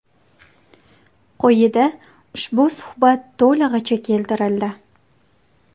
Qo‘yida ushbu suhbat to‘lig‘icha keltirildi.